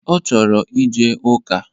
Ọ chọrọ ije ụka